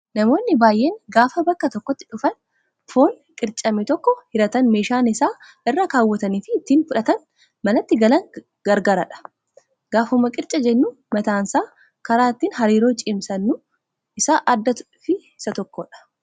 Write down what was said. Namoonni baay'een gaafa bakka tokkotti dhufuun foon qircame tokko hiratan meeshaan isaan irra kaawwatanii fi ittiin fudhatanii manatti galan garaagaradha. Gaafuma qircaa jennu mataansaa karaa ittiin hariiroo cimsannu isa addaa fi tokkodha.